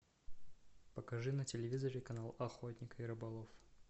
покажи на телевизоре канал охотник и рыболов